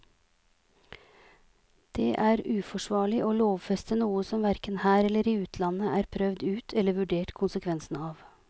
Det er uforsvarlig å lovfeste noe som hverken her eller i utlandet er prøvd ut eller vurdert konsekvensene av.